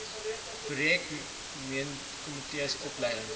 projek meentkomitees opleiding